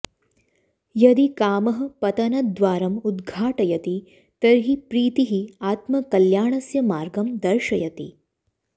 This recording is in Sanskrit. यदि कामः पतनद्वारम् उद्घाटयति तर्हि प्रीतिः आत्मकल्याणस्य मार्गं दर्शयति